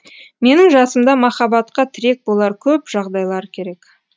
менің жасымда махаббатқа тірек болар көп жағдайлар керек